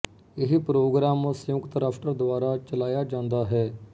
ਇਹ ਪ੍ਰੋਗਰਾਮ ਸੰਯੁਕਤ ਰਾਸ਼ਟਰ ਦੁਆਰਾ ਚਲਾਇਆ ਜਾਂਦਾ ਹੈ